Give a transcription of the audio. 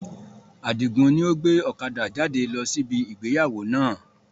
Adigun ni ó gbé ọ̀kadà jáde lọ sí ibi ìgbéyàwó náà